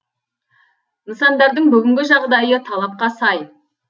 нысандардың бүгінгі жағдайы талапқа сай